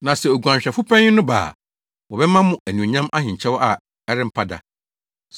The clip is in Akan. Na sɛ Oguanhwɛfo panyin no ba a, wɔbɛma mo anuonyam ahenkyɛw a ɛrempa da.